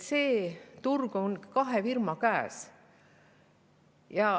See turg on kahe firma käes.